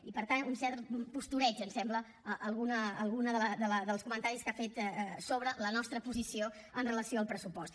i per tant un cert postureig ens sembla alguns dels comentaris que ha fet sobre la nostra posició amb relació al pressupost